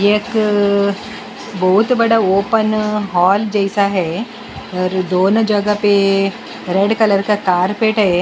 एक बहुत बड़ा ओपन हॉल जैसा है और दोनों जगह पे रेड कलर का कारपेट है।